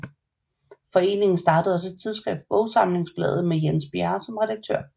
Foreningen startede også et tidsskrift Bogsamlingsbladet med Jens Bjerre som redaktør